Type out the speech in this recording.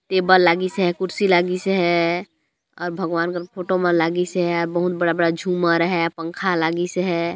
Table लगीस है कुर्सी लागीस है और भगवान का फोटो लागिस हैं बहुत बड़ा बड़ा झूमर है पंखा लागिस है।